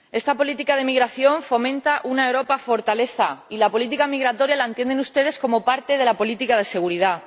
Señor Presidente, esta política de migración fomenta una Europa fortaleza, y la política migratoria la entienden ustedes como parte de la política de seguridad.